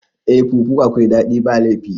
Eh fufu akwai daɗi ba laifi